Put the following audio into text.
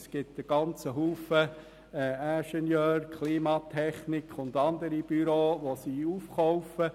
Sie kauft sehr viele Ingenieur-, Klimatechnik- und andere Büros auf.